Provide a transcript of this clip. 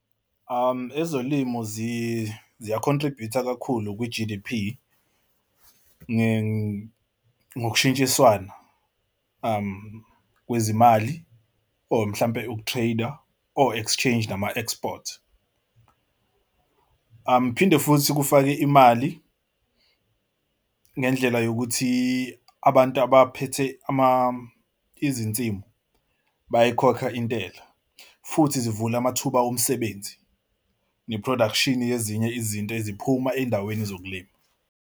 Ezolimo ziya-contribute-a kakhulu kwi-G_D_P ngokushintshiswana kwezimali or mhlawumbe uku-trade-a o-exchange nama-export. Phinde futhi kufake imali ngendlela yokuthi abantu abaphethe izinsimu bayayikhokha intela futhi zivule amathuba omsebenzi ne-production yezinye izinto eziphuma ey'ndaweni zokulima.